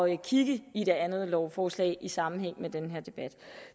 at kigge i det andet lovforslag i sammenhæng med den her debat